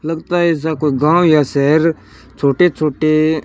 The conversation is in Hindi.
लगता है ऐसा कोई गांव या शहर छोटे छोटे--